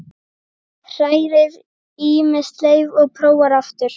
Hrærir í með sleif og prófar aftur.